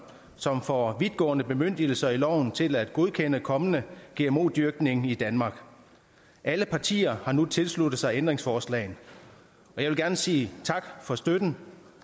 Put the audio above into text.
som får vidtgående bemyndigelser i loven til at godkende kommende gmo dyrkning i danmark alle partier har nu tilsluttet sig ændringsforslagene og jeg vil gerne sige tak for støtten